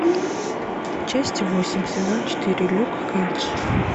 часть восемь сезон четыре люк кейдж